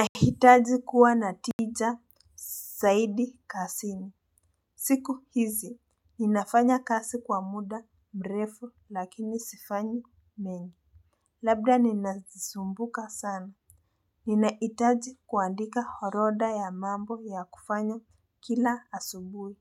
Nahitaji kuwa na tija zaidi kazini. Siku hizi ninafanya kazi kwa muda mrefu lakini sifanyi nyingi, labda ninasumbuka sana. Ninahitaji kuandika orodha ya mambo ya kufanya kila asubuhi.